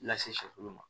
Lase shɛfulu ma